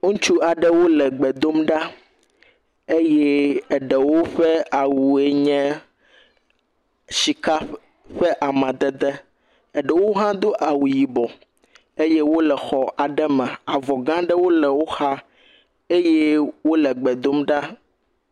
Ŋutsu aɖewo le gbe dom ɖa eye eɖewo ƒe awue nye sika ƒe amadede eɖewo hã do awu yibɔ eye wo le xɔ aɖe me. Avɔ gã aɖe le woxa eye wo le gbe dom ɖa.